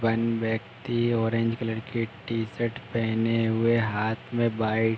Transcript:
one व्यक्ति orange colour की t shirt पहने हुए हाथ में बाई --